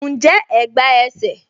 Njẹ́ ẹ̀gbá ẹsẹ̀?